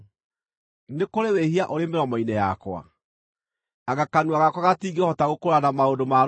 Nĩ kũrĩ wĩhia ũrĩ mĩromo-inĩ yakwa? Anga kanua gakwa gatingĩhota gũkũũrana maũndũ ma rũmena?